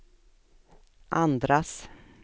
andras